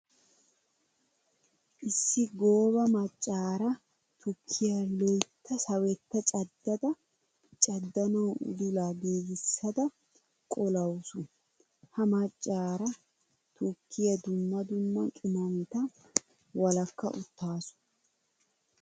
Issi gooba macaara tukkiya loytta sawetta caddada caddanawu udullan giigisadda qollawussu. Ha macara tukkiyara dumma dumma qimaametta walakka uttaassu .